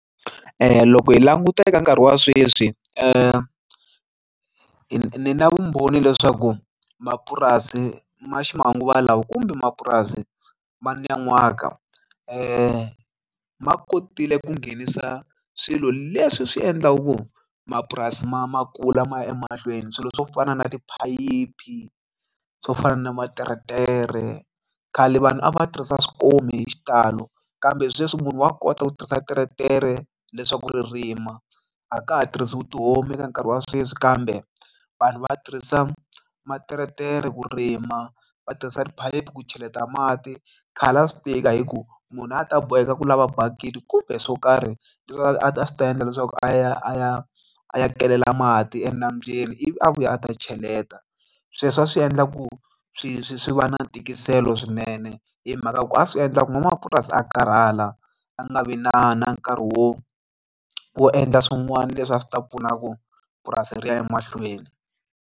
Loko hi languta eka nkarhi wa sweswi ni na vumbhoni leswaku mapurasi ma ximanguva lawa kumbe mapurasi ma nan'waka ma kotile ku nghenisa swilo leswi swi endlaku mapurasi ma ma kula ma ya emahlweni swilo swo fana na tiphayiphi swo fana na materetere khale vanhu a va tirhisa swikomu hi xitalo kambe sweswi munhu wa kota ku tirhisa teretere leswaku ri rima a ka ha tirhisiwi tihomu eka nkarhi wa sweswi kambe vanhu va tirhisa materetere ku rima va tirhisa tiphayiphi ku cheleta mati khale a swi tika hi ku munhu a ta boheka ku lava bakiti kumbe swo karhi leswi a swi ta endla leswaku a ya a ya a kelela mati enambyeni ivi a vuya a ta cheleta sweswo a swi endla ku swi swi swi va na tikiselo swinene hi mhaka ku a swi endla ku n'wamapurasi a karhala a nga vi na na nkarhi wo wo endla swin'wana leswi a swi ta pfuna ku purasi ri ya emahlweni.